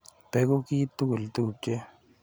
Beku kiy tugul tupche.